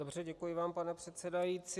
Dobře, děkuji vám, pane předsedající.